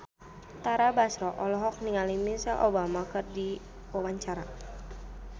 Tara Basro olohok ningali Michelle Obama keur diwawancara